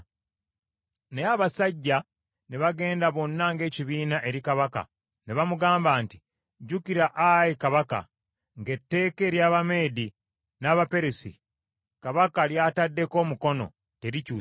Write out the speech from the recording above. Naye abasajja ne bagenda bonna ng’ekibiina eri kabaka ne bamugamba nti, “Jjukira, ayi kabaka, ng’etteeka ery’Abameedi n’Abaperusi kabaka ly’ataddeko omukono, terikyusibwa.”